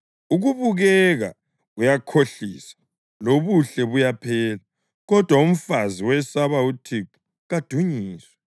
Ukubukeka kuyakhohlisa, lobuhle buyaphela; kodwa umfazi owesaba uThixo kadunyiswe.